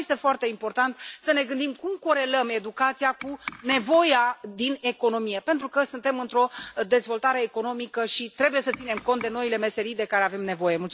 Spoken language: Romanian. Și mai este foarte important să ne gândim cum corelăm educația cu nevoia din economie, pentru că suntem într o dezvoltare economică și trebuie să ținem cont de noile meserii de care avem nevoie.